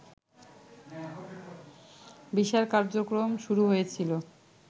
বিচার কার্যক্রম শুরু হয়েছিল